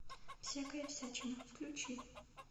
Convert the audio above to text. всякая всячина включи